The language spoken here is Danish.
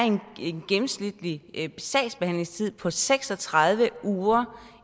en gennemsnitlig sagsbehandlingstid på seks og tredive uger